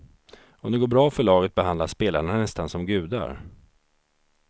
Om det går bra för laget behandlas spelarna nästan som gudar.